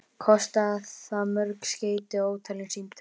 Kostaði það mörg skeyti og ótalin símtöl.